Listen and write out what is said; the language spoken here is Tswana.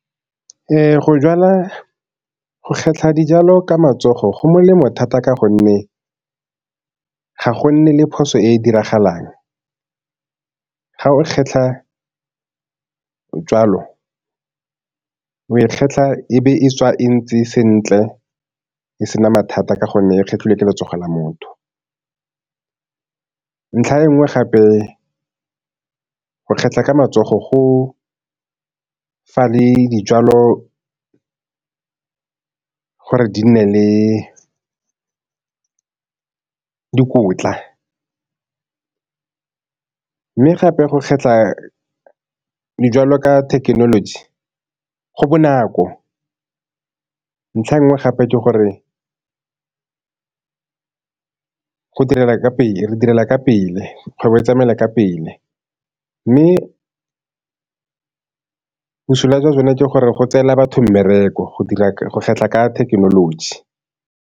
Ee, go kgetlha dijalo ka matsogo go molemo thata ka gonne ga go nne le phoso e e diragalang. Ga o kgetlha jwalo, o e kgetlha e be e tswa e ntse sentle e se na mathata ka gonne e kgetlhiwe ke letsogo la motho. Ntlha e nngwe gape go kgetlha ka matsogo go fa le dijalo gore di nne le dikotla, mme gape go kgetlha dijalo ka thekenoloji, go bonako. Ntlha e nngwe gape ke gore go direla ka pele, re direla ka pele, kgwebo e tsamaela ka pele, mme bosula jwa jone ke gore go tseela batho mmereko go kgetlha ka thekenoloji.